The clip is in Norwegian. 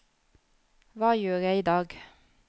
hva gjør jeg idag